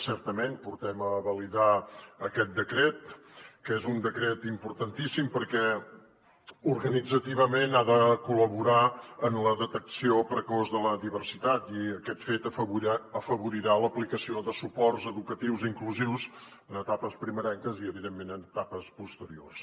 certament portem a validar aquest decret que és un decret importantíssim perquè organitzativament ha de col·laborar en la detecció precoç de la diversitat i aquest fet afavorirà l’aplicació de suports educatius inclusius en etapes primerenques i evidentment en etapes posteriors